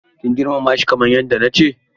Kin girmamashi kamar yadda nace maki?